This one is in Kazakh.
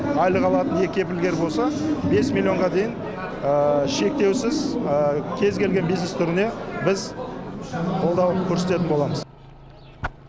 айлық алатын екі кепілгер болса бес миллионға дейін шектеусіз кез келген бизнес түріне біз қолдау көрсететін боламыз